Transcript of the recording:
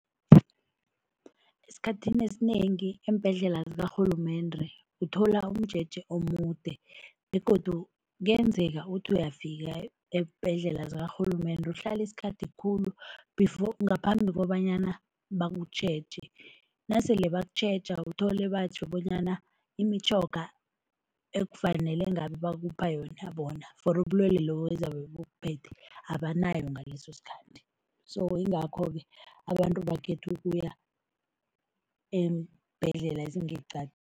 Esikhathini esinengi eembhedlela zikarhulumende uthola umjeje omude begodu kuyenzeka uthi uyafika eembhedlela zakarhulumende, uhlale isikhathi khulu before ngaphambi kobanyana bakutjheje, nasele bakutjheja uthole batjho bonyana imitjhoga ekufanele ngabe bakupha yona bona for ubulwelwe lobo ezabe bukuphethe, abanayo ngaleso sikhathi so yingakho-ke abantu bakhethe ukuya eembhedlela ezingeqadi.